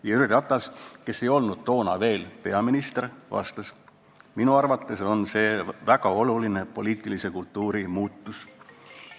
Ja Jüri Ratas, kes ei olnud siis veel peaminister, vastas, et tema arvates on see väga oluline poliitilise kultuuri muutus.